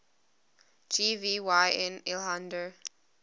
gv yn lhaihder